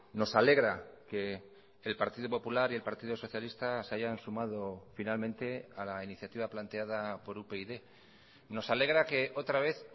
nos alegra que el partido popular y el partido socialista se hayan sumado finalmente a la iniciativa planteada por upyd nos alegra que otra vez